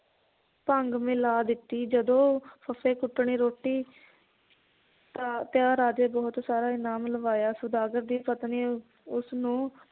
ਭੰਗ ਮਿਲਾ ਦਿੱਤੀ ਜਦੋ ਫੱਫੇ ਕੁੱਟਣੀ ਰੋਟੀ ਰਾਜੇ ਬਹੁਤ ਸਾਰਾ ਇਨਾਮ ਲਵਾਇਆ ਸੌਦਾਗਰ ਦੀ ਪਤਨੀ ਉਸਨੂੰ